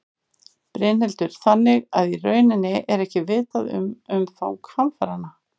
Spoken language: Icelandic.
Brynhildur: Þannig að í rauninni er ekki vitað um umfang hamfaranna?